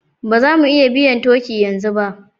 Ba za mu iya biyan turkey yanzu ba